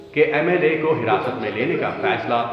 کہ M L A کو حراست میں لینے کا فیصلہی ۔